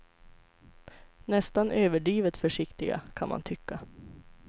Nästan överdrivet försiktiga, kan man tycka.